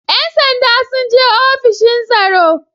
‘Yan sandan sun je ofishin tsaro.